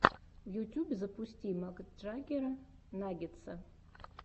в ютьюбе запусти макджаггера наггетса